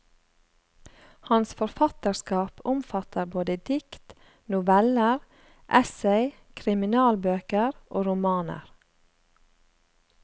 Hans forfatterskap omfatter både dikt, noveller, essay, kriminalbøker og romaner.